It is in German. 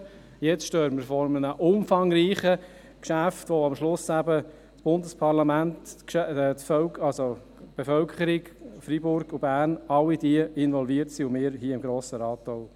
Jetzt stehen wir vor einem umfangreichen Geschäft, bei dem am Schluss eben das Bundesparlament, die Bevölkerung von Freiburg und Bern, alle diese involviert sind, und auch wir hier im Grossen Rat.